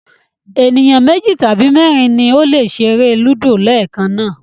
Ènìyàn méjì tàbí mẹ́rin ni ó lè ṣeré Ludo leekan náà